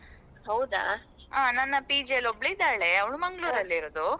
ನನ್ನ PG ಯಲ್ಲಿ ಒಬ್ಬಳು ಇದ್ದಾಳೆ ಅವ್ಳು Mangalore ಅಲ್ಲಿ ಇರೋದು.